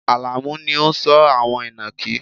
Alamu ni ó ń sọ́ àwọn inakí